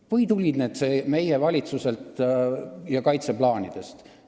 Või tulid need meie valitsuselt ja kaitseplaanidest?